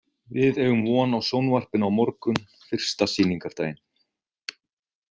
Við eigum von á sjónvarpinu á morgun, fyrsta sýningardaginn.